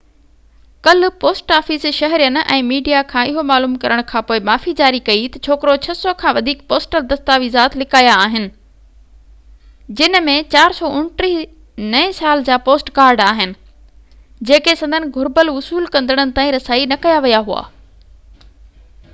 ڪلهه post office شهرين ۽ media کان اهو معلوم ڪرڻ کانپوءِ معافي جاري ڪئي ته ڇوڪرو 600 کان وڌيڪ پوسٽل دستاويز لڪايا آهن جن ۾ 429 نئين سال جا پوسٽ ڪارڊ آهن جيڪي سندن گهربل وصول ڪندڙن تائين رسائي نه ڪيا ويا هئا